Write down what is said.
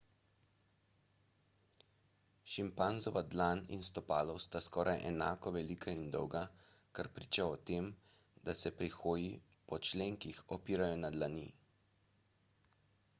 šimpanzova dlan in stopalo sta skoraj enako velika in dolga kar priča o tem da se pri hoji po členkih opirajo na dlani